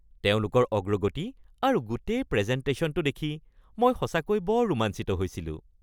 তেওঁলোকৰ অগ্ৰগতি আৰু গোটেই প্ৰেজেনটেশ্যনটো দেখি মই সঁচাকৈ বৰ ৰোমাঞ্চিত হৈছিলোঁ।